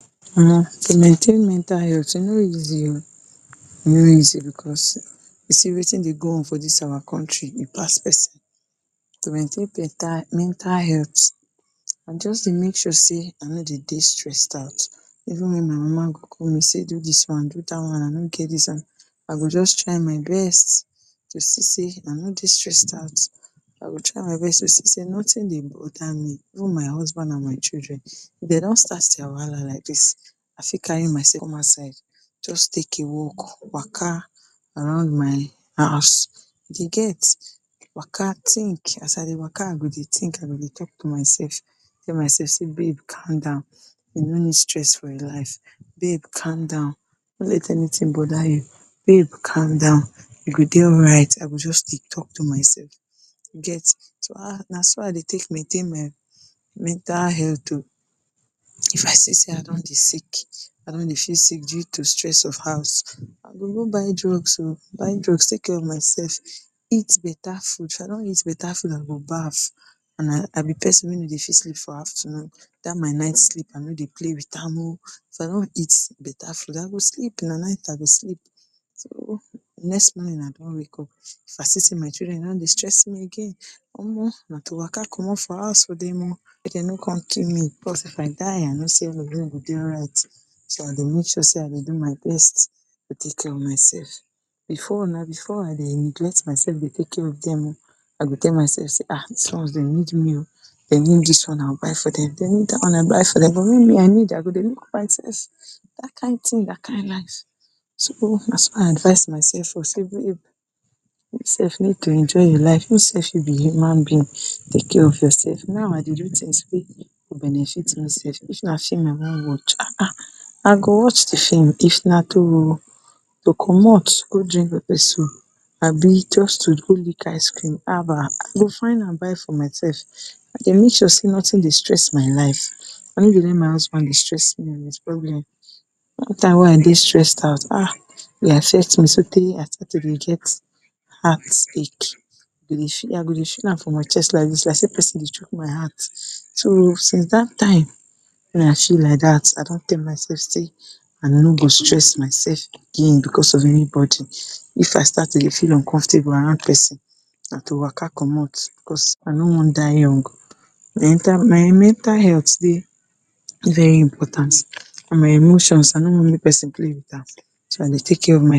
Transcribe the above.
um to maintain mental health e no easy, e no easy because you see watin dey go on for dis our country e pass pesin. To maintain beta mental health I just dey make sure sey I no dey dey stressed out even wen my mama go call me sey do dis one do dat one and I no get dis, I go just try my best to see sey I no dey stressed out, I go try my best to see sey notin dey bother me even my husband and my children. If dem don start dia wahala like dis I fit carry myself one side, just take a walk, waka around my house you get waka tink. As I dey waka I go dey talk to myself tell my self babe calm down you no need stress yourself for life, babe calm down no let anytin bother you, babe calm down you go dey alright, I go just dey talk to myself you get. So um na so I dey take dey mentain my mental health o, if I see sey I don dey sick, I don dey feel sick due to di stress of house, I go go buy drugs o, buy drugs take care of myself, eat beta food, if I don eat beta food, I go baff and I be pesin wey no dey fit sleep for afternoon. Dat my night sleep I no dey play wit am o, if I don eat beta food I go sleep na night I go sleep. So di next morning I come wake up, if I see sey my children don dey stress me again um na to waka commot for house for dem o, make dem no come kill me because if I die I know sey all of dem go dey alright so I dey make sure sey I dey do my best to take care of myself, before na before I dey neglect myself dey take care of dem o. I go tell myself sey um, dis ones dem need me o, dem need dis one I go buy for dem, dem need dat one I go buy for dem, me I need I go dey look myself, dat kain tin dat kain life. So na so I advise myself say babe you self need to enjoy your life, you self you be human being, take care of your self now I dey do tins wey go benefit me self, dis one if na film I wan watch um, if na to commot go drink pepper soup abi just to go lick ice cream haba I go find am for myself, I dey make sure sey notin dey stress my life. I no dey let my husband dey stress me wit his problem, any time wey I dey stressed out um e dey affect me so tey I start to dey get heartache I go dey feel am for my chest like dis like sey pesin dey chuck my heart so since dat time wen I feel like dat I don tell myself sey I no go stress myself again because of anybody. If I start to dey feel uncomfortable around pesin na to waka commot because I no wan die young. my mental health dey very important and my emotions I no want make pesin play wit am so I dey take care of my